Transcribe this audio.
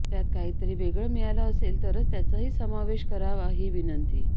त्यात काही तरी वेगळं मिळालं असेल तर त्याचाही समावेश करावा ही विनंती